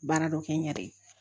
Baara dɔ kɛ n yɛrɛ ye